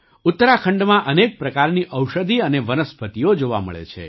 ઉત્તરાખંડમાં અનેક પ્રકારની ઔષધિ અને વનસ્પતિઓ જોવા મળે છે